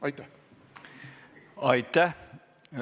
Aitäh!